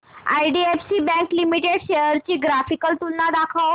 IDFC bank limited shares ची graphical तुलना दाखव